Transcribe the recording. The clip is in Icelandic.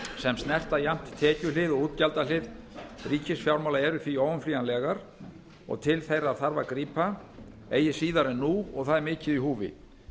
sem snerta jafnt tekjuhlið og útgjaldahlið ríkisfjármála eru því óumflýjanlegar og til þeirra þarf að grípa eigi síðar en nú og það er mikið í húfi